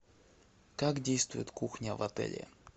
как действует кухня в отеле